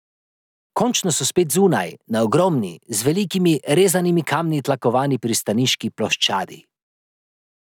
Končno so spet zunaj, na ogromni, z velikimi rezanimi kamni tlakovani pristaniški ploščadi.